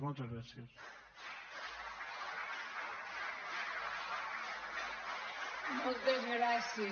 moltes gràcies